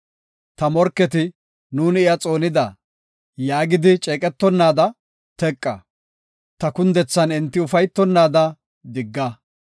Ta morketi, “Nuuni iya xoonida”, yaagidi ceeqetonnaada teqa; ta kundethan enti ufaytonnaada digga.